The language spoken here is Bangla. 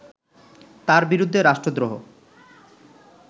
তার বিরুদ্ধে রাষ্ট্রদ্রোহ